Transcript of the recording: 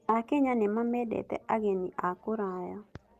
Akenya nĩmamendete ageni a kũraya.